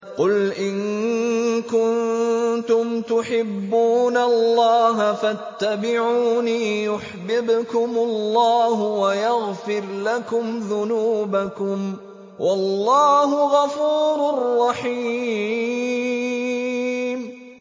قُلْ إِن كُنتُمْ تُحِبُّونَ اللَّهَ فَاتَّبِعُونِي يُحْبِبْكُمُ اللَّهُ وَيَغْفِرْ لَكُمْ ذُنُوبَكُمْ ۗ وَاللَّهُ غَفُورٌ رَّحِيمٌ